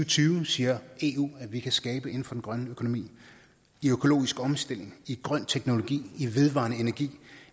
tyve siger eu at vi kan skabe inden for den grønne økonomi i økologisk omstilling i grøn teknologi i vedvarende energi